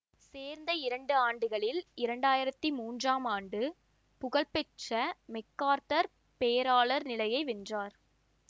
சேர்ந்த இரண்டு ஆண்டுகளில் இரண்டு ஆயிரத்தி மூன்றாம் ஆண்டு புகழ்பெற்ற மெக்கார்த்தர் பேராளர் நிலையை வென்றார்